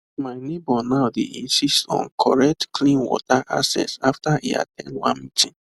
my neighbor now dey insist on correct clean water access after e at ten d one meeting